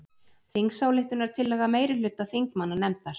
Þingsályktunartillaga meirihluta þingmannanefndar